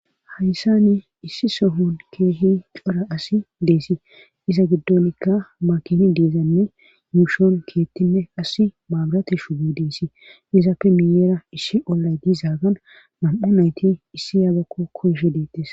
hayssa ni issi sohon keehi cora asi deesii iza giddonikka makini deezzanne yuushoon keettinne asi maabrati shubyo deesii iza pe miyeera ishshi ollay diizaagan mam7a nayti issi ayaabakko koyshe deettes